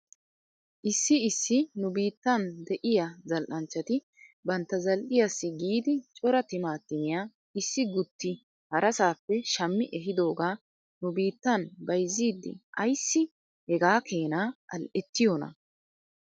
Issi issi nu biittan de'iyaa zal'anchchati bantta zal'iyaassi giidi cora timaatimiyaa issi guutti harasaappe shammi ehidoogaa nu biittan bayzziiddi ayssi hegaa keena al'ettiyoonaa?